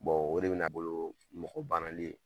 Bon o de bɛ na bolo mɔgɔ banali ye.